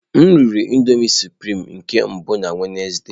M riri nri nudulu sụprịme nke mbụ na Wednesde.